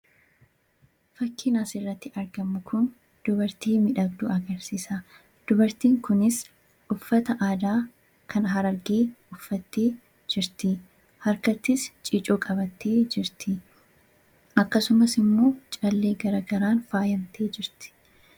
Fakkiin asirratti argamu kun dubartii miidhagduu agarsiisa. Dubartiin kunis uffata aadaa harargee uffattee jirti. Harkattis ciicoo qabattee jirti. Akkasumas callee garaagaraan faayamtee jirti.